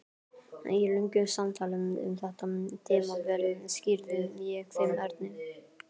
Í löngu samtali um þetta tímabil skýrði ég þeim Erni